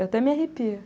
Eu até me arrepio.